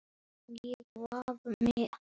Elsku Hilmar minn.